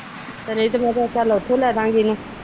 ਇਹ ਤੇ ਮੈ ਕਿਹਾ ਚੱਲ ਉਥੋ ਲੈਦਾਗੇ ਉਹਨੂੰ।